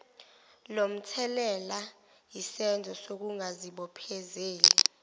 lomthelela yisenzo sokungazibophezeli